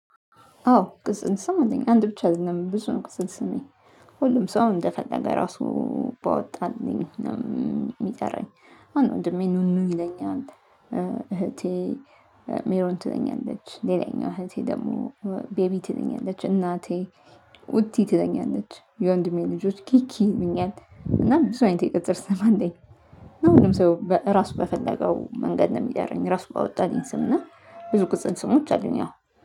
አዎ ቅጽል ስም አለኝ አንድ ብቻ አይደለም ብዙ ነው ቅጽል ስሜ ሁሉም ሰው እንደፈለገ ራሱ ባወጣልኝ ነው የሚጠራኝ። አሁን ወንድሜ ኑኑ ይለኛል። እህቴ ሜሮን ትለኛለች። ሌላኛው እህቴ ደግሞ ቤቢ ትለኛለች። እናቴ ውዴ ትለኛለች። የወንድሜ ልጆች ኪኪ ይሉኛል እና ብዙ አይነት የቅጽል ስም አለኝ። እና ሁሉም ሰው ራሱ በፈለገው መንገድ ነው የሚጠራኝ ራሱ ባወጣልኝ ስምና ብዙ ቅጽል ስሞች አሉኝ። ያው